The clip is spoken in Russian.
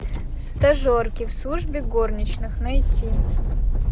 стажерки в службе горничных найти